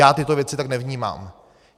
Já tyto věci tak nevnímám.